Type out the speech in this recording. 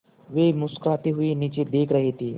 वे मुस्कराते हुए नीचे देख रहे थे